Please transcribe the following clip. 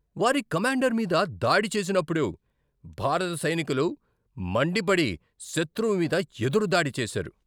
వారి కమాండర్ మీద దాడి చేసినప్పుడు భారత సైనికులు మండిపడి శత్రువు మీద ఎదురు దాడి చేశారు.